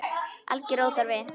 Alger óþarfi.